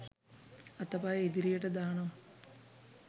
අතපය ඉදිරියට දානවා